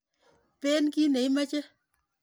Peen kit ne imoche.